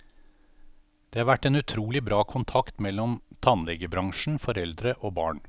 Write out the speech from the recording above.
Det har vært en utrolig bra kontakt mellom tannlegebransjen, foreldre og barn.